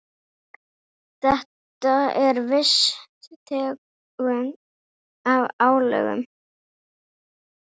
Þetta er viss tegund af álögum.